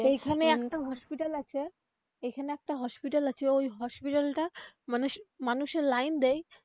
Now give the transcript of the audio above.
এইখানে একটা hospital আছে এখানে একটা hospital আছে ওই hospital টা মানুষের লাইন দেয়.